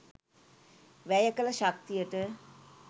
වැය කළ ශක්තියට